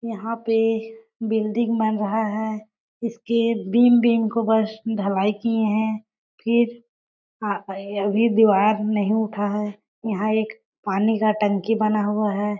यहाँ पे बिल्डिंग बन रहा है इसके बिम्ब-बिम्ब को बस ढलाई किए है फिर अभी दीवार नहीं उटा है यहाँ एक पानी का टंकी बना हुआ है।